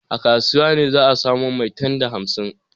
A kasuwa ne za a samo maitan da hamsin.